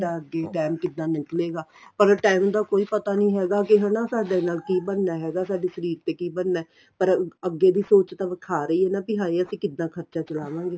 ਅੱਗੇ time ਕਿੱਦਾਂ ਨਿਕਲੇਗਾ ਪਰ time ਦਾ ਕੋਈ ਪਤਾ ਨੀਂ ਹੈਗਾ ਕੀ ਸਾਡੇ ਨਾਲ ਬਣਨਾ ਹੈਗਾ ਸਾਡੇ ਸ਼ਰੀਰ ਤੇ ਕੀ ਬਣਨਾ ਪਰ ਅੱਗੇ ਦੀ ਸੋਚ ਤਾਂ ਵਿਖਾ ਰਹੀ ਏ ਨਾ ਵੀ ਹੈ ਅਸੀਂ ਕਿੱਦਾਂ ਖਰਚਾ ਚਲਾਵਾਂਗੇ